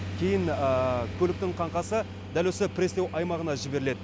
кейін көліктің қаңқасы дәл осы пресстеу аймағына жіберіледі